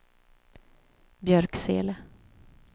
Björksele